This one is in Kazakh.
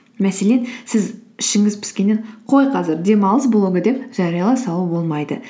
мәселен сіз ішіңіз піскеннен қой қазір демалыс блогы деп жариялай салу болмайды